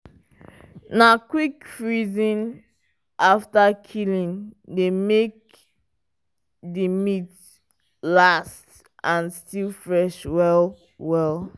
na quick freezing after killing dey make the meat last and still fresh well well.